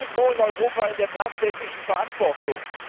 Sie sind nirgendwo in Europa in der tatsächlichen Verantwortung.